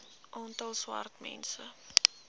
aantal swart mense